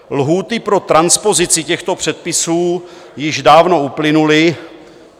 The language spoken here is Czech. Lhůty pro transpozici těchto předpisů již dávno uplynuly.